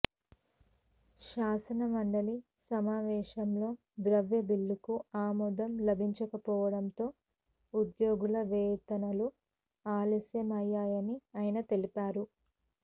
శాసనమండలి సమావేశాల్లో ద్రవ్య బిల్లుకు ఆమోదం లభించకపోవడంతో ఉద్యోగుల వేతనాలు ఆలస్యం అయ్యాయని ఆయన తెలిపారు